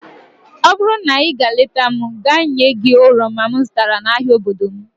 ọ bụrụ na ị gaa leta m, ga-enye gị oroma m zụtara n'ahịa obodo m